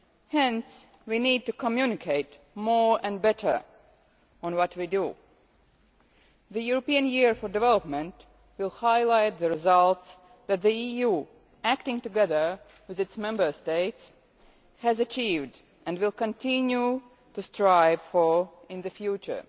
Hence we need to communicate more and better on what we do. The European Year for Development will highlight the results that the EU, acting together with its Member States, has achieved and will continue to strive for in the future.